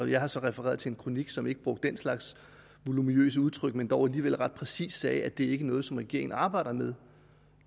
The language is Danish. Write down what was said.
jeg har så refereret til en kronik som ikke brugte den slags voluminøse udtryk men dog alligevel ret præcist sagde at det ikke er noget som regeringen arbejder med